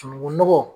Sunungunɔgɔn